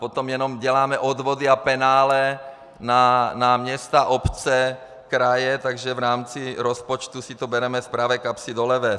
Potom jenom děláme odvody a penále na města, obce, kraje, takže v rámci rozpočtu si to bereme z pravé kapsy do levé.